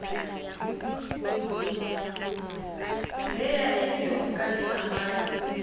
b ya e le lehokaleamanyi